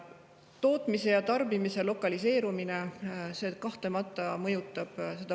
Tootmise ja tarbimise lokaliseerumine – ka see kahtlemata mõjutab.